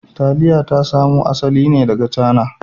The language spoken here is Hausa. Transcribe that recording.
Taliya ta samo asali ne daga Cana